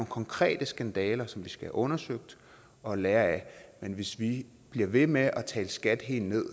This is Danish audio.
konkrete skandaler som vi skal have undersøgt og lære af men hvis vi bliver ved med at tale skat helt ned